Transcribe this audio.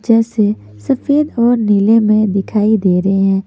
जैसे सफेद और नीले में दिखाई दे रहे हैं।